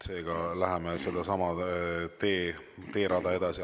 Seega läheme sedasama teed pidi edasi.